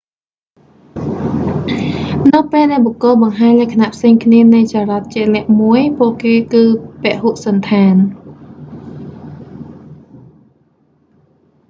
នៅពេលដែលបុគ្គលបង្ហាញលក្ខណៈផ្សេងគ្នានៃចរិតជាក់លាក់មួយ ពួកគេគឺពហុសណ្ឋាន